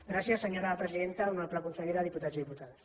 gràcies senyora presidenta honorable consellera diputats i diputades